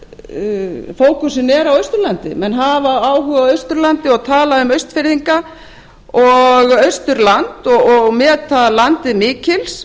fókusinn er á austurlandi menn hafa áhuga á austurlandi og tala um austfirðinga og austurland og meta landið mikils